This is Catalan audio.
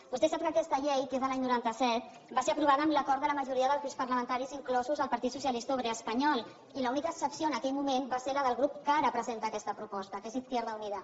vostè sap que aquesta llei que és de l’any noranta set va ser aprovada amb l’acord de la majoria dels grups parlamentaris inclòs el partit socialista obrer espanyol i l’única excepció en aquell moment va ser la del grup que ara presenta aquesta proposta que és izquierda unida